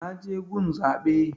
Na je gun zaɓe